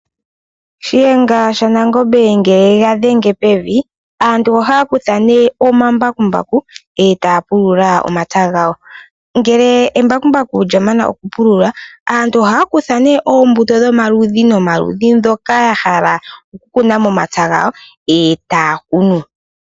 Shiyenga sha Nangombe ngele yega dhenge pevi, aantu ohaya kutha nee omambakumbaku etaya pulula omapya gawo, ngele embakumbaku lya mana oku pulula aantu ohaya kutha nee oombuto dhomaludhi no maludhi ndhoka ya hala oku kuna momapya gawo, etaya kunu.